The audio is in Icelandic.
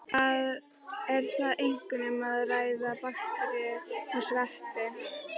Er þar einkum um að ræða bakteríur og sveppi.